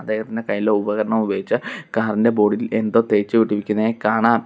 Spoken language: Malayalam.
അദ്ദേഹത്തിൻറെ കൈയിലെ ഉപകരണം ഉപയോഗിച്ച് കാറിന്റെ ബോർഡിൽ എന്തോ തേച്ചുപിടിപ്പിക്കുന്നതായി കാണാം.